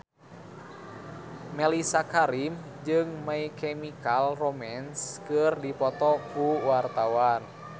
Mellisa Karim jeung My Chemical Romance keur dipoto ku wartawan